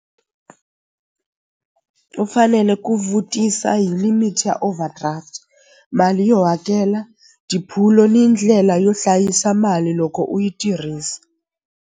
U fanele ku vutisa hi limit ya overdraft mali yo hakela ni ndlela yo hlayisa mali loko u yi tirhisa.